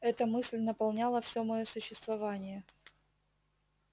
эта мысль наполняла все моё существование